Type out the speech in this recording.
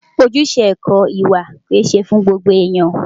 Ojúṣe ẹ̀kọ́ ìwà kìí ṣe fún gbogbo ènìyàn.